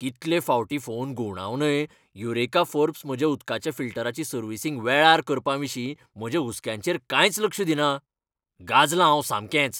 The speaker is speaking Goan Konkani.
कितले फावटी फोन घुंवडावनय युरेका फोर्ब्स म्हज्या उदकाच्या फिल्टराची सर्व्हिसींग वेळार करपाविशीं म्हज्या हुस्क्यांचेर कांयच लक्ष दिना. गांजलां हांव सामकेंच.